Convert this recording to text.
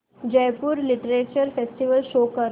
Jaipur literature festival show कर